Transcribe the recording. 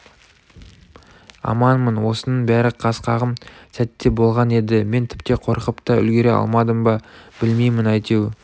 аманмын осының бәрі қас қағым сәтте болған еді мен тіпті қорқып та үлгере алмадым ба білмеймін әйтеу